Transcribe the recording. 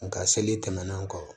Nga seli tɛmɛnen kɔ